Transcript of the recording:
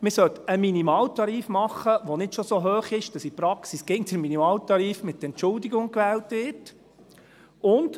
Man sollte einen Minimaltarif machen, der nicht schon so hoch ist, dass in der Praxis immer mit Entschuldigung der Minimaltarif gewählt wird.